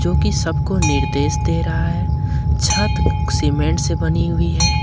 जो कि सबको निर्देश दे रहा है छत सीमेंट से बनी हुई है।